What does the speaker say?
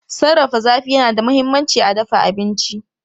Sarrafa zafi yana da mahimmanci a dafa abinci.